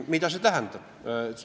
Mida seda tähendab?